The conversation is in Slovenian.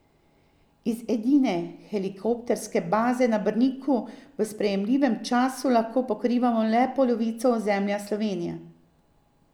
Iz edine helikopterske baze na Brniku v sprejemljivem času lahko pokrivamo le polovico ozemlja Slovenije.